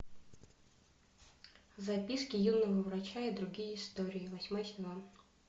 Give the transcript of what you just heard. записки юного врача и другие истории восьмой сезон